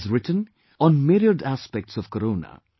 He has written, on myriad aspects of CORONA